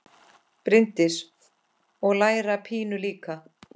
Bryndís: Og læra pínu líka?